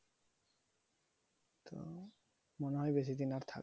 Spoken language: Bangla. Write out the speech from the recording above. আহ মনে হয় বেশি দিন আর থাকবে না।